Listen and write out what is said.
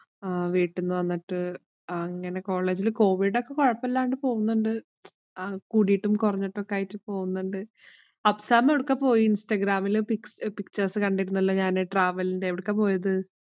ആഹ് വീട്ടിന്ന് വന്നിട്ട് അങ്ങനെ കോളേജിലെ കോവിഡ് ഒക്കെ കൊഴപ്പമില്ലാണ്ട് പോകുന്നുണ്ട്. ആഹ് കൂടിട്ടും, കൊറഞ്ഞിട്ടും ഒക്കെ ആയിട്ട് പോകുന്നുണ്ട്. അഫ്സാം എവിടെക്കാ പോയേ? ഇന്‍സ്റ്റഗ്രാമിലെ കണ്ടിരുന്നല്ലോ ഞാന്. travel ന്‍റെ. എവിടെക്കാ പോയത്?